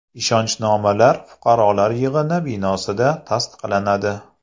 Ishonchnomalar fuqarolar yig‘ini binosida tasdiqlanadi.